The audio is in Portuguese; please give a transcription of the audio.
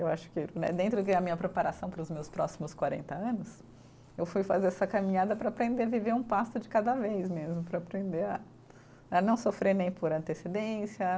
Eu acho que né dentro de a minha preparação para os meus próximos quarenta anos, eu fui fazer essa caminhada para aprender a viver um passo de cada vez mesmo, para aprender a, a não sofrer nem por antecedência.